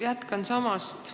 Jätkan samast kohast.